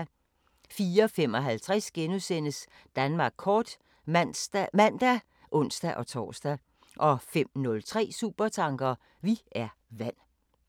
04:55: Danmark kort *(man og ons-tor) 05:03: Supertanker: Vi er vand